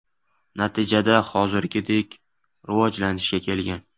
Natijada hozirgidek rivojlanishga kelgan.